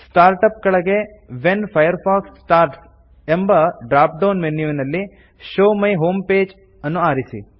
start up ಕೆಳಗೆ when Firefox starts ಎಂಬ drop down ಮೆನ್ಯುವಿನಲ್ಲಿ ಶೋವ್ ಮೈ ಹೋಮ್ ಪೇಜ್ ಅನ್ನು ಆರಿಸಿ